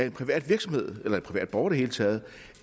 en privat virksomhed eller en privat borger i det hele taget